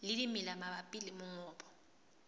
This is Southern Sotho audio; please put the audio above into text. le dimela mabapi le mongobo